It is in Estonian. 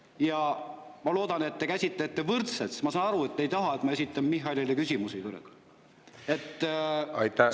Ja ma loodan, et te käsitlete võrdselt, ma saan aru, et te ei taha, et ma esitan Michalile küsimusi.